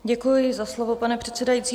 Děkuji za slovo, pane předsedající.